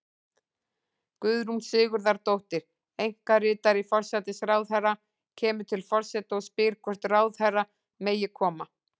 Guðrún Sigurðardóttir, einkaritari forsætisráðherra, kemur til forseta og spyr hvort ráðherra megi koma.